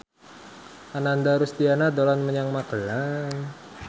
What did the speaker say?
Ananda Rusdiana dolan menyang Magelang